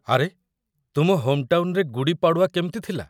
ଆରେ, ତୁମ ହୋମ୍‌ଟାଉନ୍‌ରେ ଗୁଡ଼ୀ ପାଡ଼ୱା କେମତି ଥିଲା ?